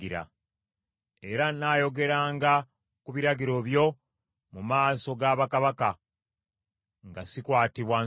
Era nnaayogeranga ku biragiro by’omu maaso ga bakabaka, nga sikwatibwa nsonyi.